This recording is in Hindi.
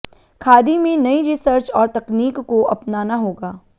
खादी में नई रिसर्च और तकनीक को अपनाना होगा